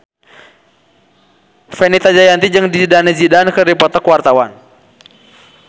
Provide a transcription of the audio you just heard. Fenita Jayanti jeung Zidane Zidane keur dipoto ku wartawan